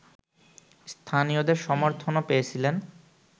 স্থানীয়দের সমর্থনও পেয়েছিলেন